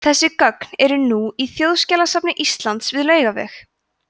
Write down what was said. þessi gögn eru nú í þjóðskjalasafni íslands við laugaveg